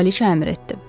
Kraliça əmr etdi.